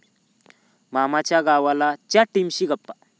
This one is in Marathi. मामाच्या गावाला..'च्या टीमशी गप्पा